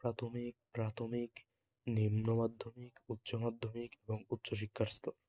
প্রাথমিক প্রাথমিক, নিম্ন মাধ্যমিক, উচ্চ মাধ্যমিক এবং উচ্চ শিক্ষার স্তর